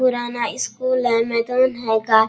पुराना स्कूल है मैदान हैगा।